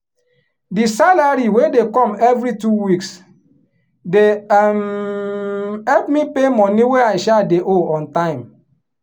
di salary wey dey come every two weeks dey um help me pay money wey i um dey owe on time.